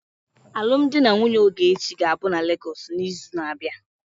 Alụmdi na nwunye Ogechi ga-abụ na Lagos n'izu na-abịa.